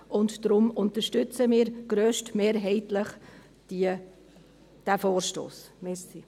Deshalb unterstützen wir diesen Vorstoss grösstmehrheitlich.